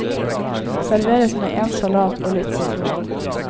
Serveres med en salat og litt sitron.